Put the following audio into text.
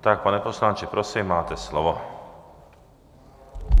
Tak pane poslanče, prosím, máte slovo.